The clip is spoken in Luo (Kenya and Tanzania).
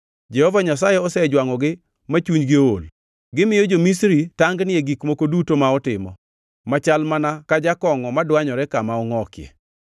Jehova Nyasaye osejwangʼogi ma chunygi ool; gimiyo jo-Misri tangni e gik moko duto ma otimo, machal mana ka jakongʼo madwanyore kama ongʼokie.